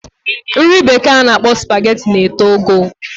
Nri bekee ana akpo spaghetti na eto ogo